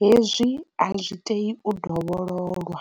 hezwi a zwi tei u dovhololwa.